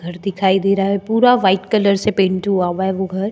घर दिखाई दे रहा है पूरा व्हाइट कलर से पेंट हुआ है वो घर --